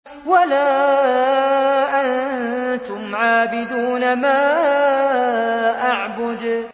وَلَا أَنتُمْ عَابِدُونَ مَا أَعْبُدُ